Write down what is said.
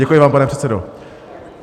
Děkuji vám, pane předsedo.